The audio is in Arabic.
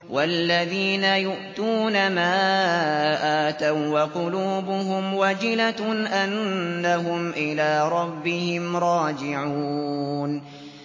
وَالَّذِينَ يُؤْتُونَ مَا آتَوا وَّقُلُوبُهُمْ وَجِلَةٌ أَنَّهُمْ إِلَىٰ رَبِّهِمْ رَاجِعُونَ